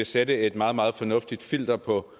sætte et meget meget fornuftigt filter på